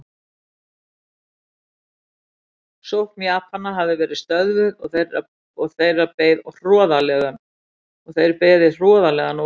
Sókn Japana hafði verið stöðvuð og þeir beðið hroðalegan ósigur.